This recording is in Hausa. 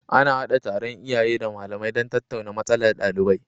Ana hada taron iyaye da malamai don tattauna matsalar ɗalibai